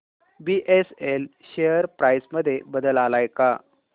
BSL share price मध्ये बदल आलाय का